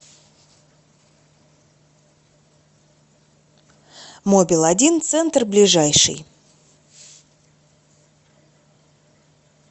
мобил один центр ближайший